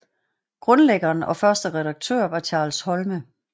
Grundlæggeren og første redaktør var Charles Holme